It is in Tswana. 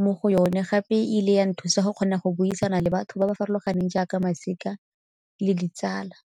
mo go yone gape e ile ya nthusa go kgona go buisana le batho ba ba farologaneng jaaka masika le ditsala.